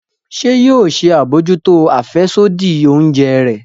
Ṣe yoo ṣe abojuto afẹsodi oúnjẹ rẹ?